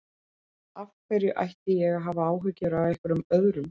Af hverju ætti ég að hafa áhyggjur af einhverjum öðrum?